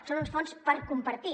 són uns fons per compartir